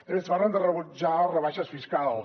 també ens parlen de rebutjar rebaixes fiscals